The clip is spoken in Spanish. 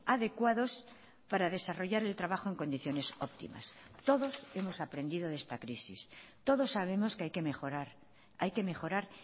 adecuados para desarrollar el trabajo en condiciones optimas todos hemos aprendido de esta crisis todos sabemos que hay que mejorar hay que mejorar